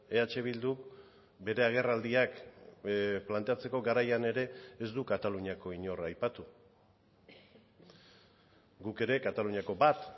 eh bilduk bere agerraldiak planteatzeko garaian ere ez du kataluniako inor aipatu guk ere kataluniako bat